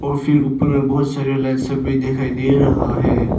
फिर ऊपर में बहुत सारे लाइटें भी दिखाई दे रहा है।